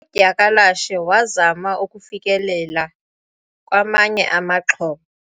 udyakalashe wazama ukufikelela kwamanye amaxhoba